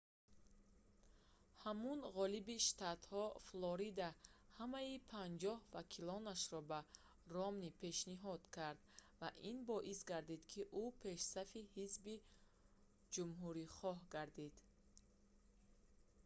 ҳамун ғолиби штатҳо флорида ҳамаи панҷоҳ вакилонашро ба ромни пешниҳод кард ва ин боис гардид ки ӯ пешсафи ҳизби ҷумҳурихоҳ гардид